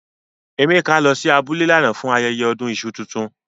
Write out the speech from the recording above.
Emeka lo si abule lánà fun ayẹyẹ ọdún iṣu tuntun.